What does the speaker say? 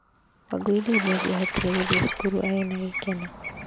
Wangũi rĩu nĩ angĩahotire gũthiĩ cukuru arĩ na gĩkeno.